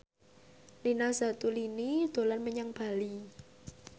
Nina Zatulini dolan menyang Bali